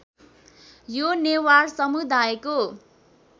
यो नेवार समुदायको